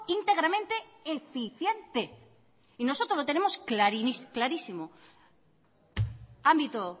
íntegramente eficiente y nosotros lo tenemos clarísimo ámbito